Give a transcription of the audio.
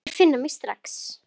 Þeir finna mig strax.